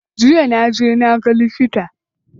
Jiya na je na ga likita.